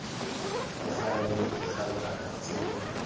ya faele dikhabara tse di